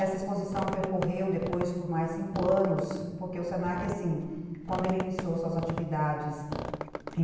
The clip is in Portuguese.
Essa exposição percorreu depois por mais cinco anos, porque o se na que, quando ele iniciou suas atividades em